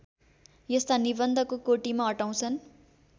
यस्ता निबन्धको कोटिमा अटाउँछन्